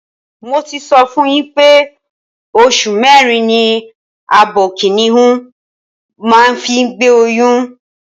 Mo ti sọ fún yín pé oṣù mẹ́rin ni abo kìnìhún máa ń fi gbé oyún.